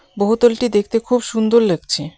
বহুতলটি দেখতে খুব সুন্দর লাগছে.